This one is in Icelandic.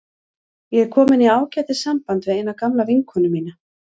Ég er komin í ágætis samband við eina gamla vinkonu mína.